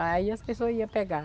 Aí as pessoas ia pegar.